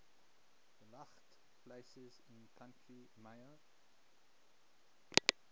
gaeltacht places in county mayo